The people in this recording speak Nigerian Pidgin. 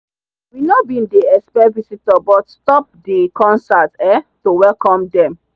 we no bin dey except visitor but stop the concert um to welcome them.